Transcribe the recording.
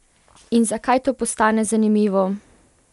In zakaj to postane zanimivo?